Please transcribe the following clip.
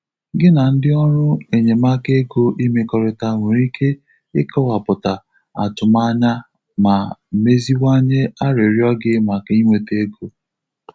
Gi na ndị ọrụ enyemaka ego imekọrịta nwere ike ịkọwapụta atụmanya ma mezinwanye arịrịọ gị maka inweta ego.